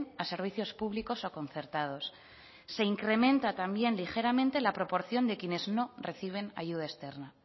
a servicios públicos o concertados se incrementa también ligeramente la proporción de quienes no reciben ayuda externa